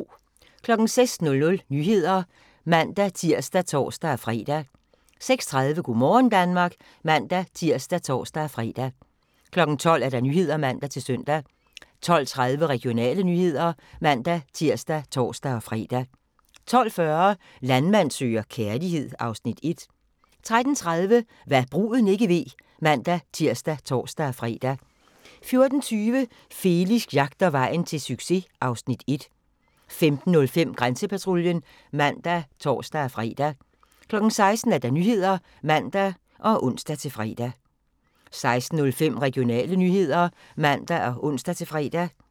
06:00: Nyhederne (man-tir og tor-fre) 06:30: Go' morgen Danmark (man-tir og tor-fre) 12:00: Nyhederne (man-søn) 12:30: Regionale nyheder (man-tir og tor-fre) 12:40: Landmand søger kærlighed (Afs. 1) 13:30: Hva' bruden ikke ved (man-tir og tor-fre) 14:20: Felix jagter vejen til succes (Afs. 1) 15:05: Grænsepatruljen (man og tor-fre) 16:00: Nyhederne (man og ons-fre) 16:05: Regionale nyheder (man og ons-fre)